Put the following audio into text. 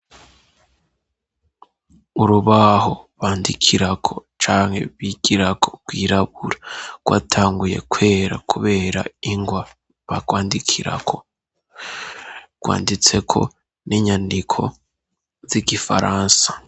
Urubaho bandikirako cane bigirako kwirabura rwatanguye kwera kubera ingwa bagwandikirako rwanditseko n'inyandiko z'igifaransa.